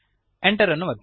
Enter ಅನ್ನು ಒತ್ತಿರಿ